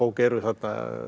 eru þarna